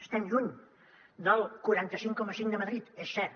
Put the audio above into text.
estem lluny del quaranta cinc coma cinc de madrid és cert